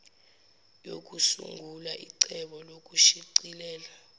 yokusungula icebo lokushicilela